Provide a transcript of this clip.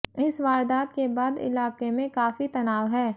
इस वारदात के बाद इलाके में काफी तनाव है